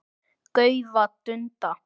gaufa, dunda.